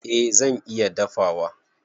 Eh zan iya dafawa.